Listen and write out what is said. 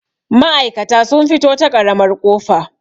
ma'aikata sun fito ta ƙaramar ƙofa